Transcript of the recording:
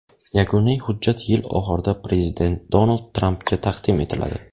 Yakuniy hujjat yil oxirida prezident Donald Trampga taqdim etiladi.